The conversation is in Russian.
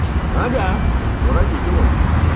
ага твои родители